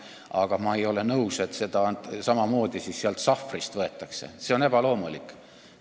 Aga ma ei ole nõus, et seda raha samamoodi sealt sahvrist võetakse – see on ebaloomulik.